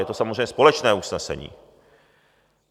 Je to samozřejmě společné usnesení.